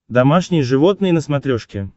домашние животные на смотрешке